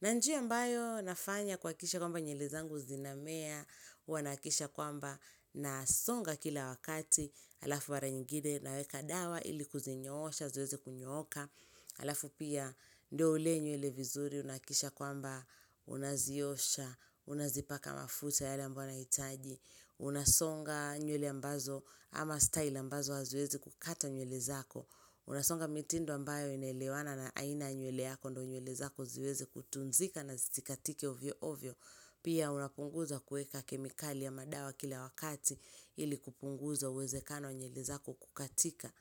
Na njia ambayo nafanya kuhakikisha kwamba nywele zangu zinamea, huwa nahakikisha kwamba nasonga kila wakati, alafu mara nyingine naweka dawa ili kuzinyoosha, ziweze kunyoka, halafu pia ndio ulee nywele vizuri, unahakikisha kwamba unaziosha, unazipaka mafuta yale ambayo unahitaji, unasonga nywele ambazo ama style ambazo haziwezi kukata nywele zako, Unasonga mitindo ambayo inaelewana na aina ya nywele yako, ndio nywele zako ziweze kutunzika na zisikatike hovyo hovyo. Pia unapunguza kuweka kemikali ya madawa kila wakati, ili kupunguza uwezekano wa nywele zako kukatika.